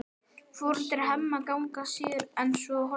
Foreldrar Hemma hanga síður en svo á horriminni.